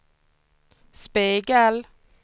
spegel